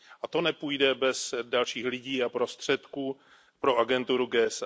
A to nepůjde bez dalších lidí a prostředků pro agenturu GSA.